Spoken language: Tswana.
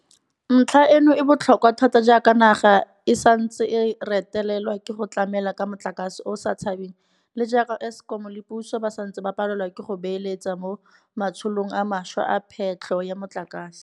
Ntlha eno e botlhokwa thata jaaka naga e santse e retelelwa ke go tlamela ka motlakase o o sa tshabeng le jaaka Eskom le puso ba santse ba palelwa ke go beeletsa mo matsholong a mašwa a phetlho ya motlakase.